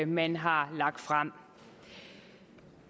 man har fremsat